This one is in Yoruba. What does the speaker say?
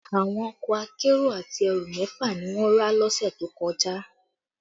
Àwọn ọkọ akérò àti ẹrù mẹ́fà ni wọ́n rà lọ́sẹ̀ tó kọjá